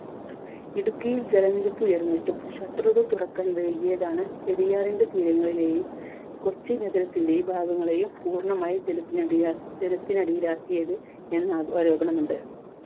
ഇടുക്കിയിൽ ജലനിരപ്പ് ഉയർന്നിട്ടും shutter തുറക്കാൻ വൈകിയതാണ് പെരിയാറിന്റെ തീരങ്ങളെയും കൊച്ചി നഗരത്തിന്റെ ഭാഗങ്ങളെയും പൂർണമായും ജലത്തിനടിയ ജലത്തിനടിയിലാക്കിയത് എന്ന ആ ആരോപണമുണ്ട്.